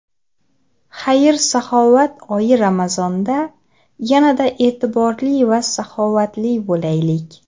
Xayr-saxovat oyi Ramazonda yanada e’tiborli va saxovatli bo‘laylik.